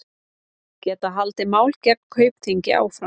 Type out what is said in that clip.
Geta haldið máli gegn Kaupþingi áfram